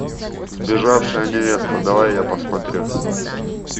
сбежавшая невеста давай я посмотрю